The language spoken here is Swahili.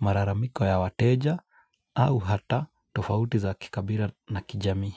malalamiko ya wateja, au hata tofauti za kikabila na kijamii.